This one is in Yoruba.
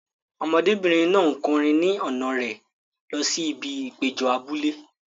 Ọmọdébìnrin náà ń kọrin ni ọ̀nà rẹ̀ lọ sí ibi ìpéjọ abúlé.